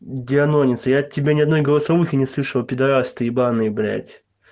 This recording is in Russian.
дианонец я тебя ни одной голосовухи не слышала пидарас ты ебаный блять